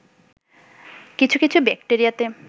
কিছু কিছু ব্যাক্টেরিয়াতে